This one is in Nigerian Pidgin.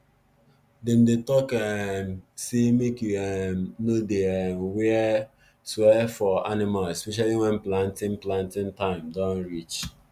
dem dey talk um say make you um no dey um swear for animals especially when planting planting time don reach